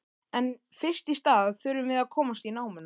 En fyrst í stað þurfum við að komast í námuna.